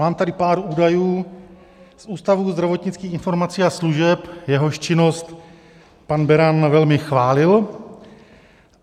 Mám tady pár údajů z Ústavu zdravotnických informací a služeb, jehož činnost pan Beran velmi chválil.